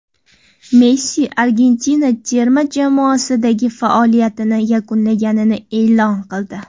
Messi Argentina terma jamoasidagi faoliyatini yakunlaganini e’lon qildi.